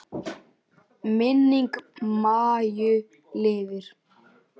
Minning Maju lifir.